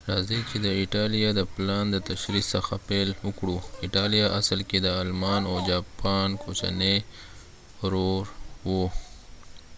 راځئ چې د ایټالیا د پلان د تشریح څخه پیل وکړو ایټالیا اصل کې د آلمان او جاپان کوچنی ورور و